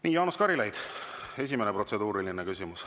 Nii, Jaanus Karilaid, esimene protseduuriline küsimus.